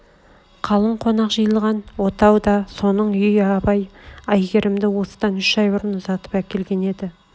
қалың қонақ жиылған отау да соның үй абай әйгерімді осыдан үш ай бұрын ұзатып әкелген еді